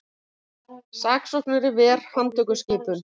Saksóknari ver handtökuskipun